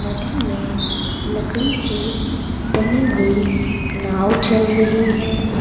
नदी में लकड़ी से बनी हुई नाव चल रही है।